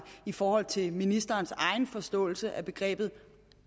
i forhold til ministerens egen forståelse af begrebet